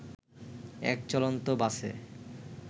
এক চলন্ত বাসে